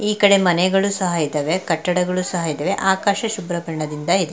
ಈ ಕಡೆ ಮನೆಗಳು ಸಹ ಇದ್ದವೇ ಕಟ್ಟಡಗಳು ಸಹ ಇದ್ದವೇ ಆಕಾಶ ಶುಭ್ರ ಬಣ್ಣದಿಂದ ಇದೆ.